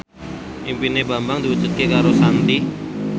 impine Bambang diwujudke karo Shanti